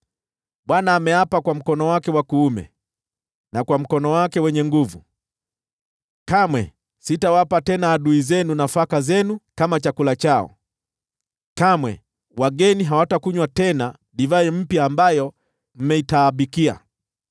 Bwana ameapa kwa mkono wake wa kuume na kwa mkono wake wenye nguvu: “Kamwe sitawapa tena adui zenu nafaka zenu kama chakula chao; kamwe wageni hawatakunywa tena divai mpya ambayo mmeitaabikia,